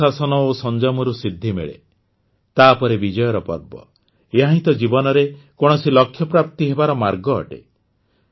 ଅନୁଶାସନ ଓ ସଂଯମରୁ ସିଦ୍ଧି ମିଳେ ତାପରେ ବିଜୟର ପର୍ବ ଏହାହିଁ ତ ଜୀବନରେ କୌଣସି ଲକ୍ଷ୍ୟପ୍ରାପ୍ତି ହେବାର ମାର୍ଗ ଅଟେ